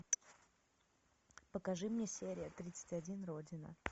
покажи мне серия тридцать один родина